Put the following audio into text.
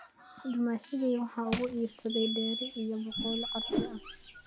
Dumaashigay waxa uu iibsaday dheri iyo baaquli casri ah